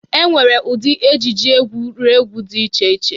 E nwere ụdị ejiji egwuregwu dị iche iche.